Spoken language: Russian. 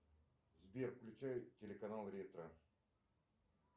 сбер включай телеканал ретро